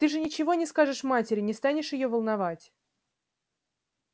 ты же ничего не скажешь матери не станешь её волновать